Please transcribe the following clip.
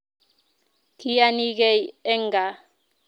Kiyanigei eng kaa